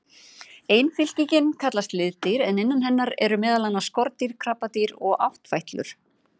Ein fylkingin kallast liðdýr en innan hennar eru meðal annars skordýr, krabbadýr og áttfætlur.